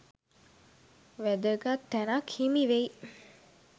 වැදගත් තැනක් හිමි වෙයි.